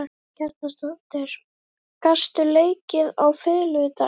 Karen Kjartansdóttir: Gastu leikið á fiðlu í dag?